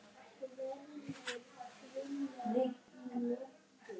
Komdu, lambið mitt.